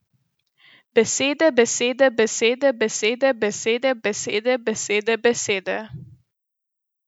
Besede, besede, besede, besede, besede, besede, besede, besede.